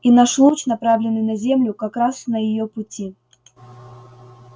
и наш луч направленный на землю как раз на её пути